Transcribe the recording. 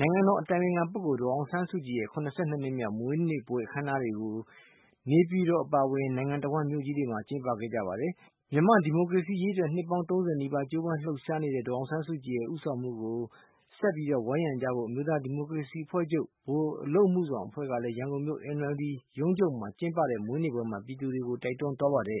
နိုင်ငံတော်အတိုင်ပင်ခံပုဂ္ဂိုလ်ဒေါ်အောင်ဆန်းစုကြည်ရဲ့ နှစ်မြောက် မွေးနေ့ပွဲ အခမ်းအနားတွေကို မနေ့က နေပြည်တော်အပါအဝင် နိုင်ငံတဝှမ်းမြို့ကြီးတွေမှာ ကျင်းပခဲ့ကြပါတယ်။ မြန်မာ့ဒီမိုကရေစီရေးအတွက် နှစ်ပေါင်း ၃၀ နီးပါး ကြိုးပမ်းလှုပ်ရှားနေတဲ့ ဒေါ်အောင်ဆန်းစုကြည်ရဲ့ ဦးဆောင်မှုကို ဆက်ပြီးဝိုင်းရံကြဖို့ အမျိုးသားဒီမိုကရေစီအဖွဲ့ချုပ် ဗဟိုအလုပ်အမှုဆောင်အဖွဲ့ကလည်း ရန်ကုန်မြို့ NLD ရုံးချုပ်မှာကျင်းပတဲ့ မွေးနေ့ပွဲမှာ ပြည်သူတွေကို တိုက်တွန်းသွားပါတယ်။